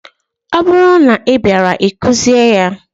Ọ bụrụ na ị bịaara, ị kụzie ya!